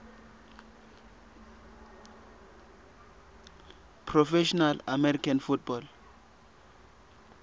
professional american football